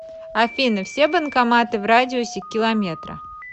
афина все банкоматы в радиусе километра